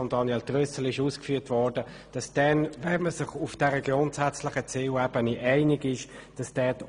Wie von Grossrat Trüssel dargestellt, muss man gewissen Massnahmen folgen, nachdem man sich auf dieser grundsätzlichen Zielebene einig ist.